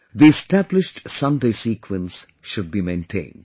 The established Sunday sequence should be maintained